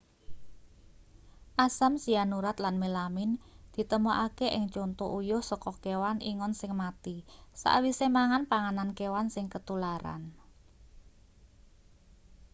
asam sianurat lan melamin ditemokake ing conto uyuh saka kewan ingon sing mati sawise mangan panganan kewan sing ketularan